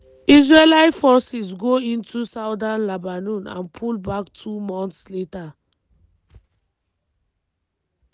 israeli forces go into southern lebanon and pull back two months later.